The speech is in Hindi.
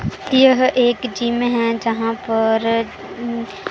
यह एक जिम है जहां पर उम--